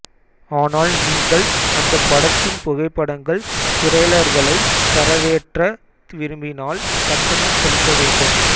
ஆனால் நீங்கள் அந்தப் படத்தின் புகைப்படங்கள் டிரைலர்களை தரவேற்ற விரும்பினால் கட்டணம் செலுத்த வேண்டும்